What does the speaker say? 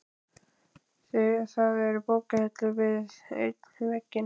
Það eru bókahillur við einn vegginn.